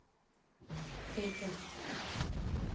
Bryggja